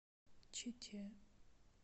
чите